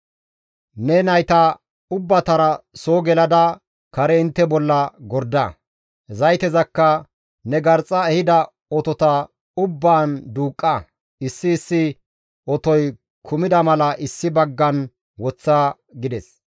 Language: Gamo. Ne nayta ubbatara soo gelada kare intte bolla gorda; zaytezakka ne garxxa ehida otota ubbaan duuqqa; issi issi otoy kumida mala issi baggan woththa» gides.